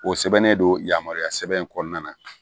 O sɛbɛnnen don yamaruya sɛbɛn in kɔnɔna na